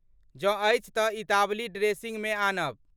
जँ अछि तँ इतावली ड्रेसिंगमे आनब।